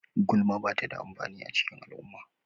Gulma ba ta da amfani a cikin al'umma.